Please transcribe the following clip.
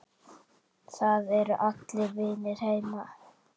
Það eru allir vinir heima.